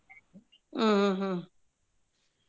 ಹ್ಮ್ ಹ್ಮ್ ಹ್ಮ್ ಹ್ಮ್.